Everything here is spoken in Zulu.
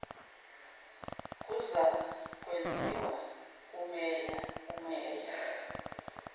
kuzakwenziwa kumeya umeya